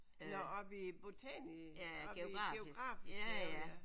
Nåh oppe i botanisk oppe i geografisk have ja